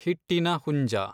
ಹಿಟ್ಟಿನ ಹುಂಜ